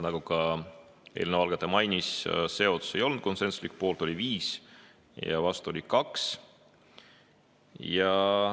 Nagu ka eelnõu algataja mainis, see otsus ei olnud konsensuslik, poolt oli 5, vastu oli 2.